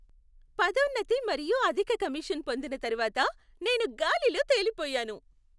పదోన్నతి మరియు అధిక కమిషన్ పొందిన తరువాత, నేను గాలిలో తేలిపోయాను.